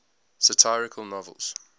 satirical novels